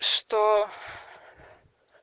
что